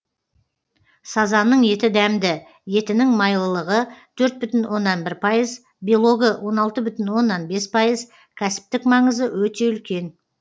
сазанның еті дәмді етінің майлылығы төрт бүтін оннан бір пайыз белогы он алты бүтін оннан бес пайыз кәсіптік маңызы өте үлкен